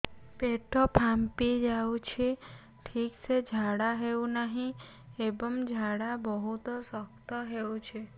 ପେଟ ଫାମ୍ପି ଯାଉଛି ଠିକ ସେ ଝାଡା ହେଉନାହିଁ ଏବଂ ଝାଡା ବହୁତ ଶକ୍ତ ହେଉଛି